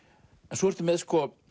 svo ertu með